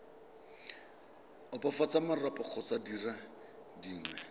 opafatsa marapo kgotsa dire dingwe